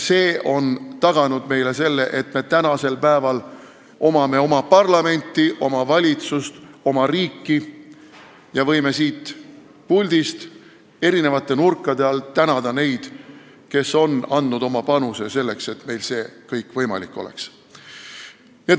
See on taganud meile selle, et meil on praegu oma parlament, oma valitsus, oma riik ja me võime siit puldist eri nurkade alt tänada neid, kes on andnud oma panuse selleks, et meil see kõik võimalik oleks.